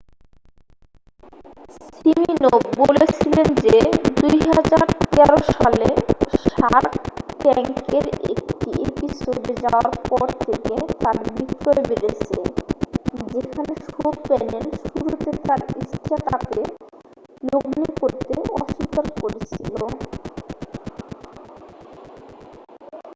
Siminoff বলেছিলেন যে 2013 সালে শার্ক ট্যাঙ্কের একটি এপিসোডে যাওয়ার পর থেকে তাঁর বিক্রয় বেড়েছে যেখানে শো-প্যানেল শুরুতে তার স্টার্টআপে লগ্নি করতে অস্বীকার করেছিল